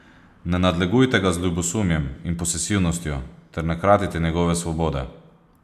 Ne nadlegujte ga z ljubosumjem in posesivnostjo ter ne kratite njegove svobode.